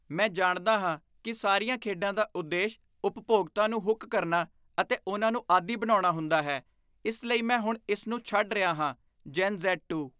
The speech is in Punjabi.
ਮੈਂ ਜਾਣਦਾ ਹਾਂ ਕੀ ਸਾਰੀਆਂ ਖੇਡਾਂ ਦਾ ਉਦੇਸ਼ ਉਪਭੋਗਤਾ ਨੂੰ ਹੁੱਕ ਕਰਨਾ ਅਤੇ ਉਨ੍ਹਾਂ ਨੂੰ ਆਦੀ ਬਣਾਉਣਾ ਹੁੰਦਾ ਹੈ, ਇਸ ਲਈ ਮੈਂ ਹੁਣ ਇਸ ਨੂੰ ਛੱਡ ਰਿਹਾ ਹਾਂ ਜੇਨ ਜ਼ੈਡ ਟੂ